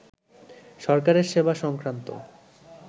সরকারের সেবা সংক্রান্ত